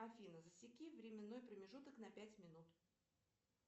афина засеки временной промежуток на пять минут